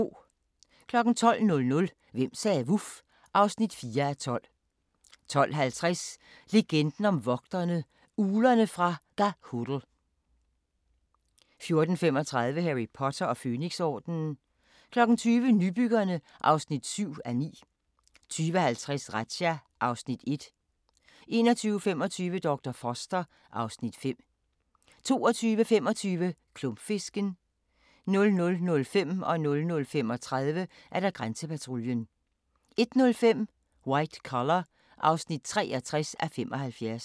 12:00: Hvem sagde vuf? (4:12) 12:50: Legenden om vogterne - Uglerne fra Ga'Hoole 14:35: Harry Potter og Fønixordenen 20:00: Nybyggerne (7:9) 20:50: Razzia (Afs. 1) 21:25: Dr. Foster (Afs. 5) 22:25: Klumpfisken 00:05: Grænsepatruljen 00:35: Grænsepatruljen 01:05: White Collar (63:75)